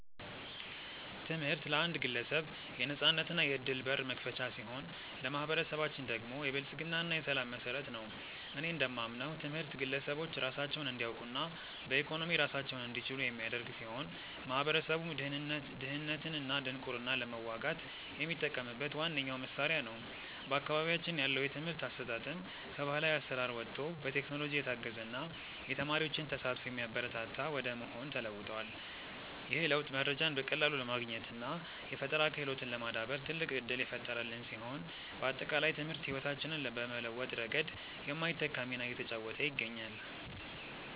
ትምህርት ለአንድ ግለሰብ የነፃነትና የዕድል በር መክፈቻ ሲሆን፣ ለማኅበረሰባችን ደግሞ የብልጽግና እና የሰላም መሠረት ነው። እኔ እንደማምነው ትምህርት ግለሰቦች ራሳቸውን እንዲያውቁና በኢኮኖሚ ራሳቸውን እንዲችሉ የሚያደርግ ሲሆን፣ ማኅበረሰቡም ድህነትንና ድንቁርናን ለመዋጋት የሚጠቀምበት ዋነኛው መሣሪያ ነው። በአካባቢያችን ያለው የትምህርት አሰጣጥም ከባሕላዊ አሠራር ወጥቶ በቴክኖሎጂ የታገዘና የተማሪዎችን ተሳትፎ የሚያበረታታ ወደ መሆን ተለውጧል። ይህ ለውጥ መረጃን በቀላሉ ለማግኘትና የፈጠራ ክህሎትን ለማዳበር ትልቅ ዕድል የፈጠረልን ሲሆን፣ ባጠቃላይ ትምህርት ሕይወታችንን በመለወጥ ረገድ የማይተካ ሚና እየተጫወተ ይገኛል።